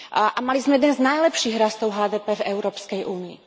A mali sme jeden z najlepších rastov HDP v Európskej únii.